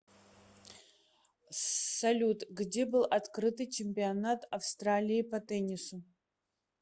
салют где был открытый чемпионат австралии по теннису